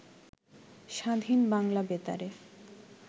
স্বাধীন বাংলা বেতারে